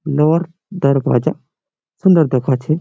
আর দরওয়াজা সুন্দর দেখাচ্ছে।